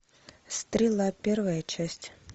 стрела первая часть